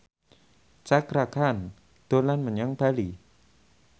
Cakra Khan dolan menyang Bali